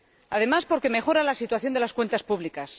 además, porque mejora la situación de las cuentas públicas